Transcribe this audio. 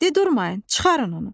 De durmayın, çıxarın onu.